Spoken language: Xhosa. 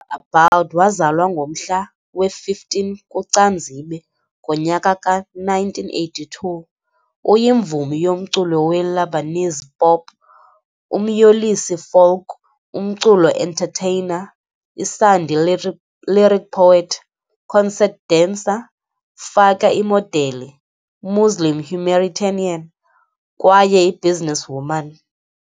Abboud, Waazalwa ngomhla we-15 kuCanzibe, ngonyaka ka-1982, uyimvumi yomculo we-Lebanese pop, umyolisi folk umculo entertainer, isandi-lyric poet, concert dancer, faka imodeli, Muslim humanitarian kwaye yi-businesswoman.